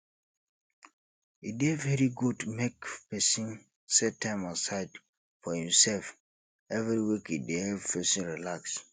e dey very good make pesin set time aside for imself every week e dey help pesin relax